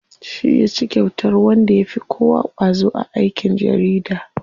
Shi yaci kyautar wanda yafi kowa ƙwazo a aikin jarida.